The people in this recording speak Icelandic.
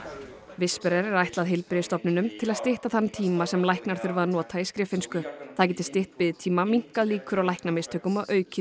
whisperer er ætlað heilbrigðisstofnunum til að stytta þann tíma sem læknar þurfa að nota í skriffinnsku það geti stytt biðtíma minnkað líkur á læknamistökum og aukið